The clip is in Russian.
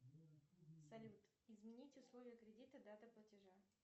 салют изменить условия кредита дата платежа